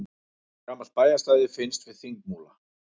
Gamalt bæjarstæði finnst við Þingmúla